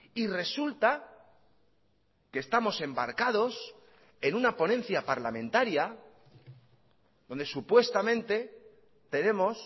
y resulta que estamos embarcados en una ponencia parlamentaria donde supuestamente tenemos